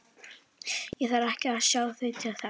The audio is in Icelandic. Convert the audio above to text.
Ég þarf ekki að sjá þau til þess.